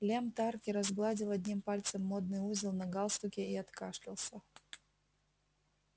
лем тарки разгладил одним пальцем модный узел на галстуке и откашлялся